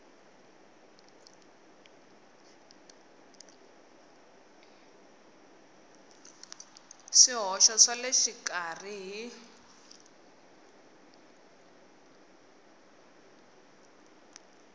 swihoxo swa le xikarhi hi